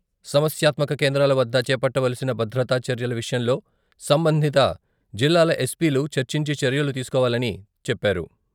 సమస్యాత్మక కేంద్రాల వద్ద చేపట్టవలసిన భదత్రా చర్యల విషయంలో సంబంధింత జిల్లాల ఎస్పీలు చర్చించి చర్యలు తీసుకోవాలని చెప్పారు.